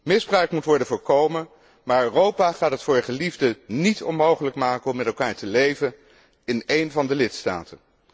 Misbruik moet worden voorkomen, maar Europa gaat het voor geliefden niet onmogelijk maken om met elkaar te leven in een van de lidstaten.